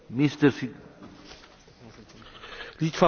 Litwa poradziła sobie z tym zadaniem bardzo dobrze.